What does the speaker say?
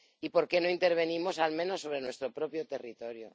¿Por qué no intervenimos, al menos, sobre nuestro propio territorio?